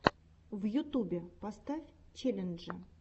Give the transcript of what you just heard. в ютубе поставь челленджи